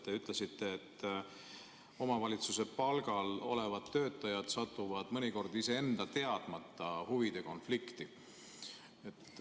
Te ütlesite, et omavalitsuse palgal olevad töötajad satuvad mõnikord iseenda teadmata huvide konflikti.